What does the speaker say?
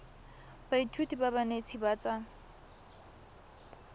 baithuti ba banetshi ba tsa